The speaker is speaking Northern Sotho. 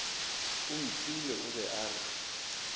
omphile o be a re